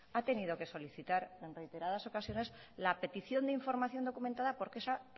ha tenido que solicitar en reiteradas ocasiones la petición de información documentada porque esas